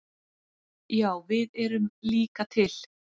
Já við erum líka til!